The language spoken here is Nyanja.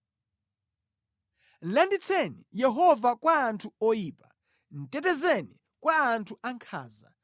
Landitseni Yehova kwa anthu oyipa; tetezeni kwa anthu ankhanza,